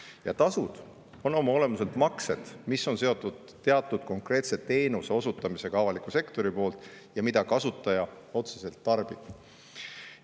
Ja tasud on oma olemuselt maksed, mis on seotud teatud konkreetse teenuse osutamisega avaliku sektori poolt ja mida kasutaja otseselt tarbib.